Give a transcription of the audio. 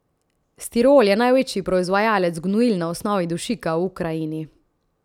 Stirol je največji proizvajalec gnojil na osnovi dušika v Ukrajini.